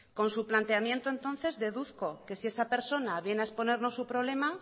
con su planteamiento entonces deduzco que si esa persona viene a exponernos su problema